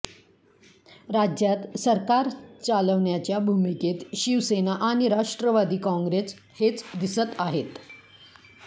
राज्यात सरकार चालवण्याच्या भूमिकेत शिवसेना आणि राष्ट्रवादी काँग्रेस हेच दिसत आहेत